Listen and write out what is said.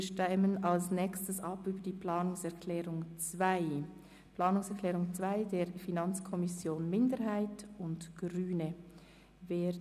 Wir stimmen über die Planungserklärung 2 der FiKo-Minderheit und der Grünen ab.